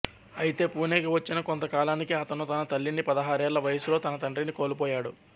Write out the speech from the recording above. ఐతే పూణెకు వచ్చిన కొంతకాలానికే అతను తన తల్లిని పదహారేళ్ళ వయసులో తన తండ్రిని కోల్పోయాడు